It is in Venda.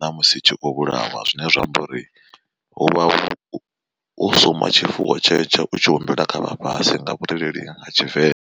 ṋamusi tshikho vhulawa. Zwine zwa amba uri huvha hu u suma tshifuwo tshetsho u tshi humbela kha vhafhasi nga vhurereli ha tshivenḓa.